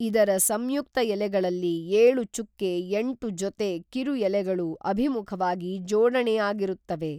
ಇದರ ಸಂಯುಕ್ತ ಎಲೆಗಳಲ್ಲಿ ಏಳು ಚುಕ್ಕೆ ಎಂಟು ಜೊತೆ ಕಿರು ಎಲೆಗಳು ಅಭಿಮುಖವಾಗಿ ಜೋಡಣೆ ಆಗಿರುತ್ತವೆ